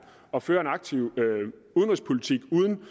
og føre en aktiv udenrigspolitik uden